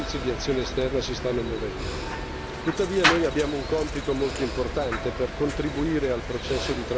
Tuttavia, noi abbiamo un compito molto importante per contribuire al processo di transizione democratica e alla sua stabilità.